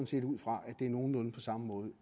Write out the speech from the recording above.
set ud fra at det er nogenlunde på samme måde